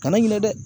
Kana ɲinɛ dɛ